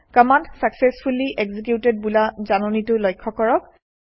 command successfully executed বোলা জাননীটো লক্ষ্য কৰক